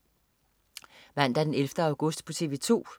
Mandag den 11. august - TV 2: